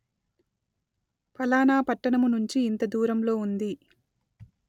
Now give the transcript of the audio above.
ఫలానా పట్టణము నుంచి ఇంత దూరంలో ఉంది